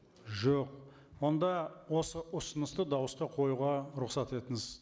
жоқ онда осы ұсынысты дауысқа қоюға рұқсат етіңіз